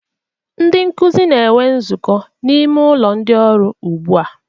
Ndị nkuzi na-enwe nzukọ n'ime ụlọ ndị ọrụ ugbu a